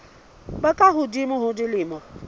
ba ka hodimo ho dilemo